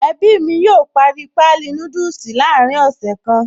Ẹbí mi yóò parí páálí núdùsì láàrin ọ̀sẹ̀ kan.